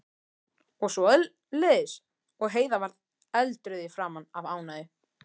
og svoleiðis, og Heiða varð eldrauð í framan af ánægju.